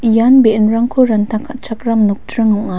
ian be·enrangko ranta ka·chakram nokdring ong·a.